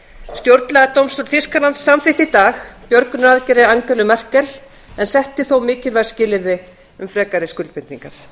stjórnlagadómstóll þýskalands samþykkti í dag björgunaraðgerðir angelu merkel en setti þó mikilvæg skilyrði um frekari skuldbindingar